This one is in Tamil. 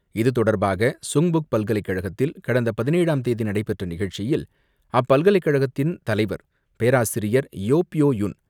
இதுதொடர்பாக சுங்புக் பல்கலைக்கழகத்தில் கடந்த பதினேழாம் தேதி நடைபெற்ற நிகழ்ச்சியில் அப்பல்கலைக்கழகத்தின் தலைவர் பேராசிரியர். Yo Pyo Yun,